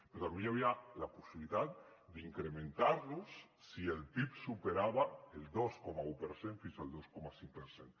però també hi havia la possibilitat d’incrementar los si el pib superava el dos coma un per cent fins al dos coma cinc per cent